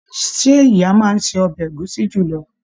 Ṣe ìyá máa n se ọbẹ ẹ̀gúsí julọ?